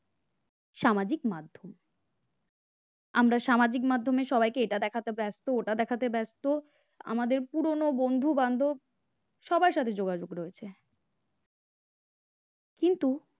সামাজিক মাধ্যম আমরা সামাজিক মাধ্যমে সবাইকে এটা দেখাতে ব্যস্ত ওটা দেখাতে ব্যস্ত আমাদের পুরনো বন্ধু বান্ধব সবার সাথে যোগাযোগ রয়েছে কিন্তু